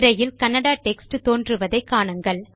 திரையில் கன்னடா டெக்ஸ்ட் தோன்றுவதை காணுங்கள்